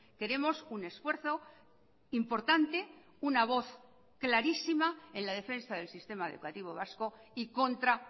queremos un esfuerzo importante una voz clarísima en la defensa del sistema educativo vasco y contra